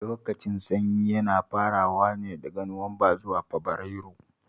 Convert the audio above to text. Lokacin sanyi yana farawa ne daga Nuwamba zuwa Fabarairu